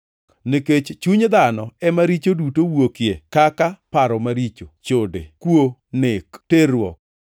Nikech chuny dhano ema richo duto wuokie kaka: paro maricho, chode, kuo, nek, terruok,